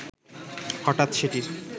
হঠাৎ সেটির